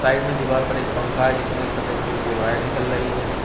Side में दीवार पर एक पंखा है जिसमें एक सफेद कलर के वायर निकल रही है।